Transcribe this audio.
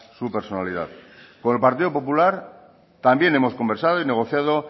su personalidad por el partido popular también hemos conversado y negociado